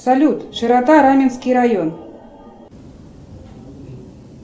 салют широта раменский район